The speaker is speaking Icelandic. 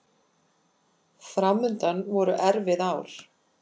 Framundan voru erfið ár.